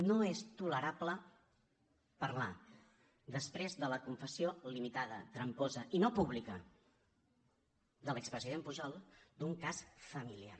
no és tolerable parlar després de la confessió limitada tramposa i no pública de l’expresident pujol d’un cas familiar